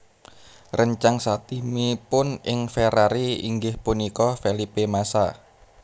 Réncang satimipun ing Ferrari inggih punika Felipe Massa